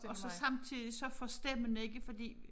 Og så samtidig så forstemmende ikke fordi